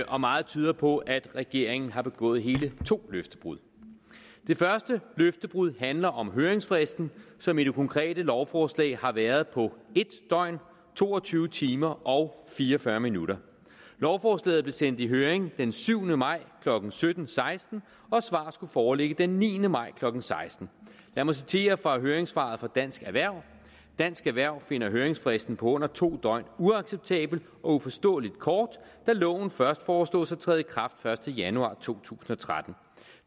og meget tyder på at regeringen har begået hele to løftebrud det første løftebrud handler om høringsfristen som i det konkrete lovforslag har været på en døgn to og tyve timer og fire og fyrre minutter lovforslaget blev sendt i høring den syvende maj klokken sytten seksten og svaret skulle foreligge den niende maj klokken seksten lad mig citere fra høringssvaret fra dansk erhverv dansk erhverv finder høringsfristen på under to døgn uacceptabel og uforståelig kort da loven først foreslås at træde i kraft første januar to tusind og tretten